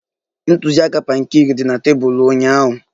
Ntụziaka pankeeki dị na tebụl ụnyaahụ